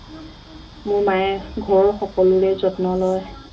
মোৰ মায়ে ঘৰৰ সকলোৰে যত্ন লয়